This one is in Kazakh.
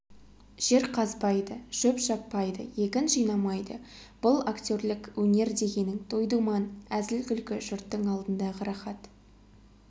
жер қазбайды шөп шаппайды егін жинамайды бұл актерлік өнер дегенің той-думан әзіл-күлкі жұрттың алдындағы рахат